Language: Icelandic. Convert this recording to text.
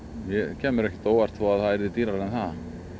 kæmi mér ekkert á óvart ef það væri dýrara en það